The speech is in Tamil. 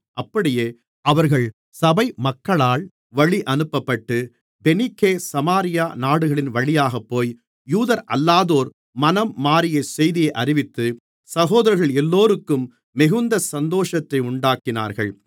அப்படியே அவர்கள் சபை மக்களால் வழியனுப்பப்பட்டு பெனிக்கே சமாரியா நாடுகளின்வழியாகப்போய் யூதரல்லாதோர் மனம் மாறிய செய்தியை அறிவித்து சகோதரர்கள் எல்லோருக்கும் மிகுந்த சந்தோஷத்தை உண்டாக்கினார்கள்